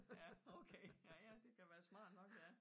Ja okay ja ja det kan være smart nok ja